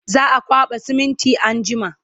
za'a kwaɓa siminti anjima